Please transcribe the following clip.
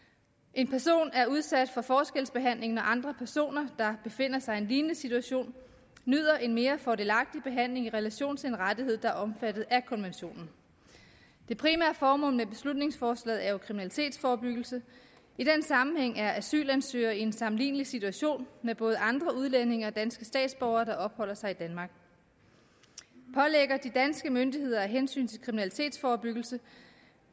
en person er udsat for forskelsbehandling når andre personer der befinder sig i en lignende situation nyder en mere fordelagtig behandling i relation til en rettighed der er omfattet af konventionen det primære formål med beslutningsforslaget er jo kriminalitetsforebyggelse i den sammenhæng er asylansøgere jo i en sammenlignelig situation med både andre udlændinge og med danske statsborgere der opholder sig i danmark pålægger de danske myndigheder af hensyn til kriminalitetsforebyggelse